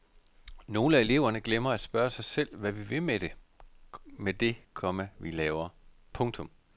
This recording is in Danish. Nogle af eleverne glemmer at spørge sig selv hvad vi vil med det, komma vi laver. punktum